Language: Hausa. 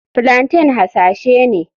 Plaintain hasashe ne.